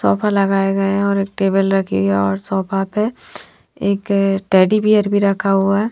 Sofa लगाए गए है और एक टेबल रखी है और सोफा पे एक टेडी बियर भी रखा हुआ है।